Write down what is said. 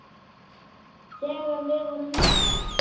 Þegar við vorum litlar.